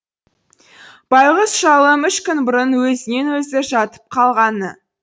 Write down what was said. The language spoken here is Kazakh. байғұс шалым үш күн бұрын өзінен өзі жатып қалғаны